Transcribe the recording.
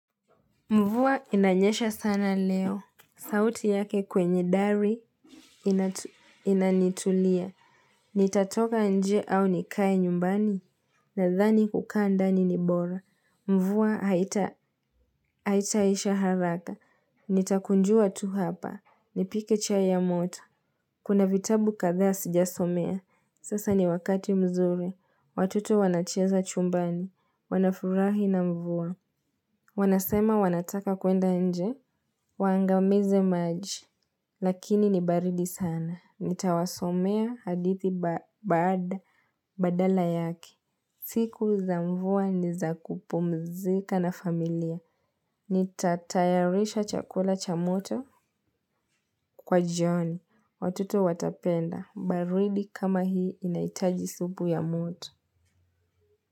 Mvua inanyesha sana leo. Sauti yake kwenye dari, inanitulia. Nitatoka nje au nikae nyumbani. Nadhani kuka ndani ni bora. Mvua haitaisha haraka. Nitakunjuwa tu hapa. Nipike chai ya moto. Kuna vitabu kadha sijasomea. Sasa ni wakati mzuri. Watoto wanacheza chumbani. Wanafurahi na mvuwa. Wanasema wanataka kwenda nje. Wangamize maji, lakini ni baridi sana. Nitawasomea hadithi badala yake. Siku za mvua niza kupumzika na familia. Nitatayarisha chakula cha moto, kwa jioni. Watoto watapenda. Baridi kama hii inahitaji supu ya moto.